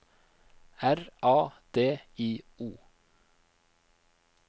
R A D I O